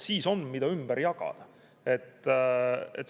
Siis on, mida ümber jagada.